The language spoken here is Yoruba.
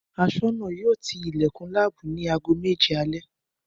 Aṣọ́nà yóò ti ilẹ̀kùn láàbù ni aago méje alẹ́